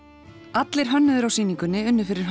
allir hönnuðir á sýningunni unnu fyrir